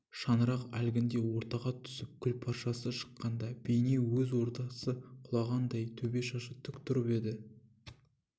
шаңырақ әлгінде ортаға түсіп күлпаршасы шыққанда бейне өз ордасы құлағандай төбе шашы тік тұрып еді